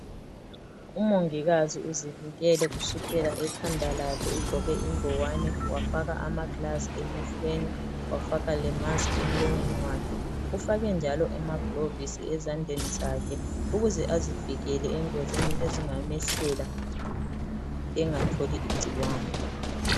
Umongikazi uzivikele kusukela ekhanda lakhe ugqoke ingowane wafaka ama "gloves" emehlweni wafaka le"musk" emlonyeni wakhe, ufake njalo amagilovisi ezandleni zakhe ukuze azivikele engozini ezingamehlela engatholi igcikwane.